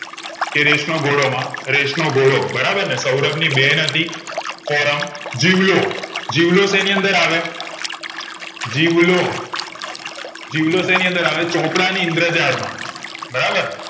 કે રેસનો ઘોડો માં રેસનો ઘોડો બરાબર ને સૌરભ ની બેન હતી ફોરમ જીવલો જીવલો સેની અંદર આવે જીવલો જીવલો સેની અંદર આવે ચોપડા ની ઇન્દ્રેજાળ માં બરાબર